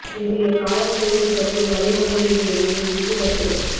இன்றைய காலநிலையை பற்றிய வளிமண்டலவியலின் முக்கிய கருத்துக்கள்